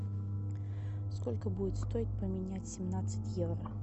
сколько будет стоить поменять семнадцать евро